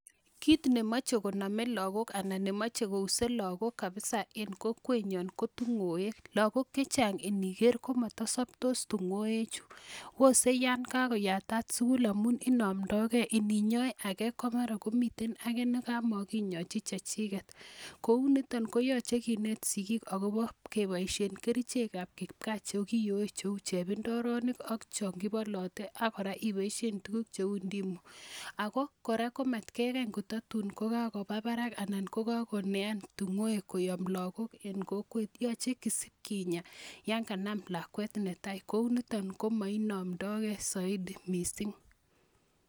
Kiit ne mache koname lagook anan ne mache kouse lagok kapisa eng' kokwenyo kapisa ko tung'wek. Lagok che chang' iniker ko ma saptos tung'wechu pose ya yatat sukul amu inamdaigei amu ini nya age ko miten age ne makinyachi che chiket kou nitan koyache kineet sikiik akopa poishet ap kerichek ap kipkaa che kiyoe che u chepndoronik ak chan kipalate ak kora ipaishen tuguk che u ndimu. Ako kora ko matkekany ko ta tun ko kakopa parak anan ko kakoenean tung'wek koyam lagok en kokwet .Yache kinyaa yan kanam lakwet ne tai kou niton komainamdai ge saidi missing'.